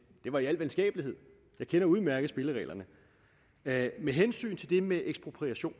det var i al venskabelighed jeg kender udmærket spillereglerne med med hensyn til det med ekspropriation